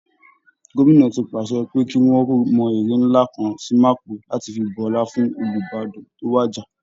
Gómìnà ti pàṣẹ pé kí wọ́n mọ ère ńlá kan sí mapo láti fi bu ọlá fún Olúbàdàn tó wàjà